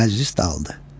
Məclis dağıldı.